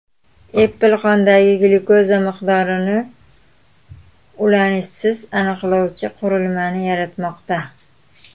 Apple qondagi glyukoza miqdorini ulanishsiz aniqlovchi qurilmani yaratmoqda.